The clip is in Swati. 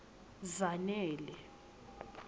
zanele